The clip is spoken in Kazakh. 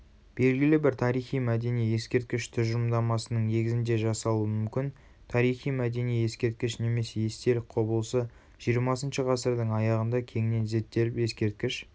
белгілі бір тарихи-мәдени ескерткіш тұжырымдамасының негізінде жасалуы мүмкін тарихи-мәдени ескерткіш немесе естелік құбылысы жиырмасыншы ғасырдың аяғында кеңінен зерттеліп ескерткіш